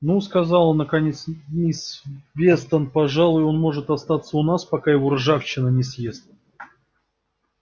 ну сказала наконец мисс вестон пожалуй он может остаться у нас пока его ржавчина не съест